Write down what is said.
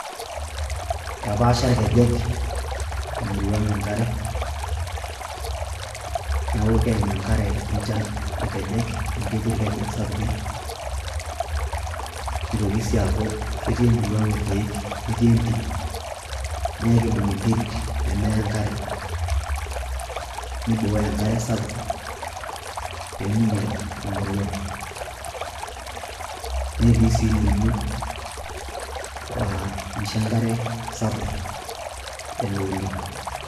Eitapaasha irkejek emuruaa ang enkare neeku keim enkare enchan irkejek amu ketii irkejek sapukin neitoki sii aaku ketii emurua aang irkiek ,ketii entim neeku keibung enterit peemeya enkare neibooyo enkare sapuk peemeinyial emurua netii sii ildonyio laa misho enkare sapuk elo oleng.